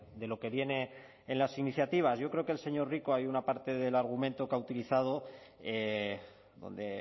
de lo que viene en las iniciativas yo creo que el señor rico hay una parte del argumento que ha utilizado donde